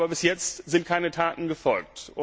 Aber bis jetzt sind keine Taten gefolgt.